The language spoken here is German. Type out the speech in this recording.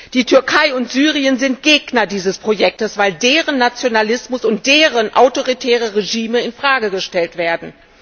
Die Türkei und Syrien sind Gegner dieses Projektes, weil deren Nationalismus und deren autoritäre Regime in Frage gestellt werden.